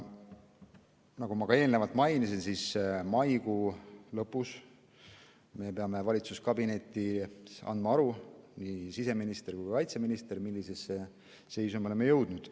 Nagu ma ka eelnevalt mainisin, siis maikuu lõpus peavad nii siseminister kui ka kaitseminister andma valitsuskabinetis aru, millisesse seisu me oleme jõudnud.